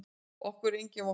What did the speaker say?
Okkur er engin vorkunn.